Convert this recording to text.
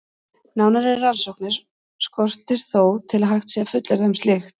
Nánari rannsóknir skortir þó til að hægt sé að fullyrða um slíkt.